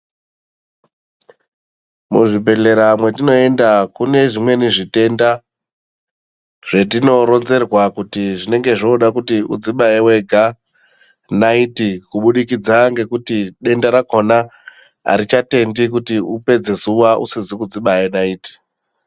Muzvibhedhlera mwetinoenda kune zvimweni zvitenda zvetinoronzerwa kuti zvinenge zvoda kuti udzibaye wega naiti kubudikidza ngekuti denda rakhona arichatendi kuti upedze zuwa usizi kudzibayr naiti.